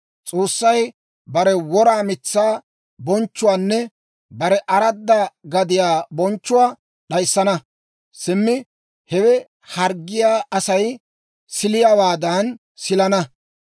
S'oossay bare wora mitsaa bonchchuwaanne bare aradda gadiyaa bonchchuwaa d'ayissana; simmi hewe harggiyaa Asay siliyaawaadan silana.